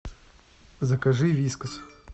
закажи вискас